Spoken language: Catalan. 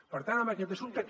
per tant en aquest assumpte